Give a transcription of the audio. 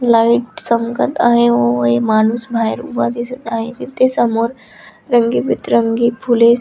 light चमकत आहे व एक माणूस बाहेर उभा दिसत आहे तिथे समोर रंगीत बिरंगी फुले--